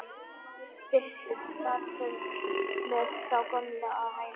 Birtist þar með þá gömlu á hælunum.